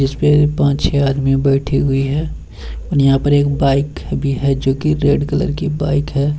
जिसपे पांच छे आदमी बैठी हुए है और यहाँ पर एक बाइक भी है जो की रेड कलर की बाइक है।